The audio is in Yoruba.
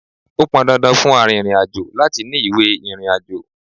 Ó pọn dandan fún arìnrìn-àjò láti ní ìwé ìrìnàjò.